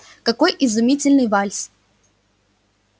какой изумительный вальс